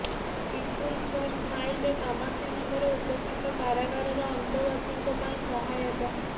people for ସ୍ମାଇଲର କାମାକ୍ଷାନଗର ଉପଖଣ୍ଡ କାରାଗାରର ଅନ୍ତେବାସୀଙ୍କ ପାଇଁ ସହାୟତା